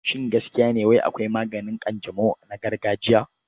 Shin gaskiya ne wai akwai maganin ƙanjamau na gargajiya?